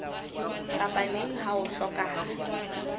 kapa neng ha ho hlokahala